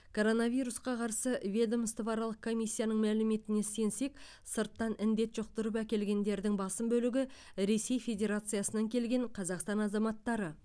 коронавирусқа қарсы ведомствоаралық комиссияның мәліметіне сенсек сырттан індет жұқтырып әкелгендердің басым бөлігі ресей федерациясынан келген қазақстан азаматтары